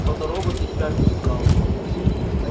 фоторобот и впрямь впечатлял